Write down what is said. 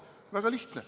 Väga lihtne.